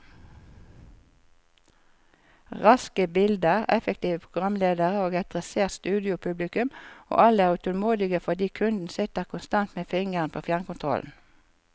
Raske bilder, effektive programledere og et dressert studiopublikum, og alle er utålmodige fordi kunden sitter konstant med fingeren på fjernkontrollen.